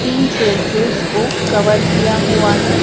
Tin shed से उसको cover किया हुआ है।